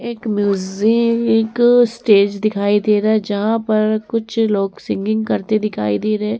एक music stage दिखाई दे रहा है जहां पर कुछ लोग सिंगिंग करते दिखाई दे रहे।